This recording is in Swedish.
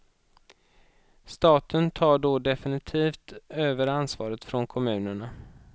Staten tar då definitivt över ansvaret från kommunerna.